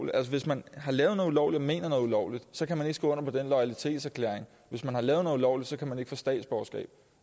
at hvis man har lavet noget ulovligt og mener noget ulovligt så kan man ikke skrive under på den loyalitetserklæring hvis man har lavet noget ulovligt kan man ikke få statsborgerskab